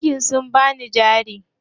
Bankin sun bani jari.